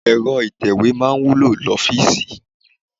Ẹ̀rọ itewe máa ń wúlò l'ofiisi.